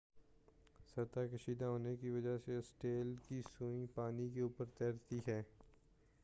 سطح کشیدہ ہونے کی وجہ سے اسٹیل کی سوئی پانی کے اوپر تیرتی ہے